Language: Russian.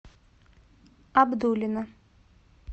абдулино